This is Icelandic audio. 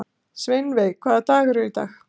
Sveinveig, hvaða dagur er í dag?